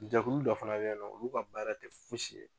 Jɛkulu dɔ fana be yen nɔ, olu ka baara te fosi ye